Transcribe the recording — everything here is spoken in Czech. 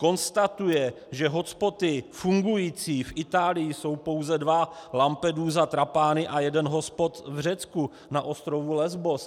Konstatuje, že hotspoty fungující v Itálii jsou pouze dva, Lampedusa, Trapani, a jeden hotspot v Řecku na ostrově Lesbos.